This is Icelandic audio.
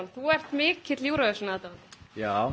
þú ert mikill Euro aðdáandi já